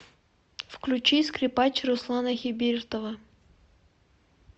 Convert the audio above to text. включи скрипач руслана хибиртова